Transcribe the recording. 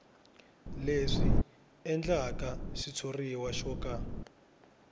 leswi endlaka xitshuriwa xo ka